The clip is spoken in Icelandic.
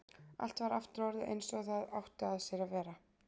Allt var aftur orðið einsog það átti að sér að vera.